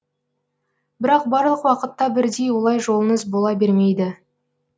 бірақ барлық уақытта бірдей олай жолыңыз бола бермейді